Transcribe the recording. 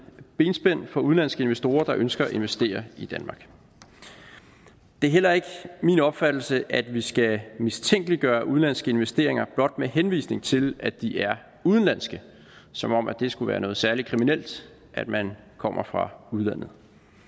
benspænd for udenlandske investorer der ønsker at investere i danmark det er heller ikke min opfattelse at vi skal mistænkeliggøre udenlandske investeringer blot med henvisning til at de er udenlandske som om at det skulle være noget særlig kriminelt at man kommer fra udlandet